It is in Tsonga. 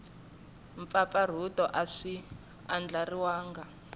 mpfapfarhuto a swi andlariwangi hi